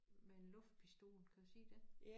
Med en luftpistol kan jeg sige det